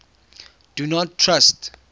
do not trust